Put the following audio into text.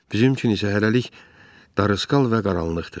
Bizim üçün isə hələlik darısqal və qaranlıqdır.